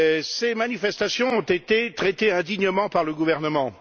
Ces manifestations ont été traitées indignement par le gouvernement.